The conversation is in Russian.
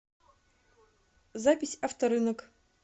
запись авторынок